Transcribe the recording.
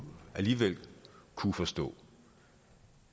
alligevel kunne forstå